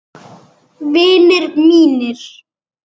Vinir mínir.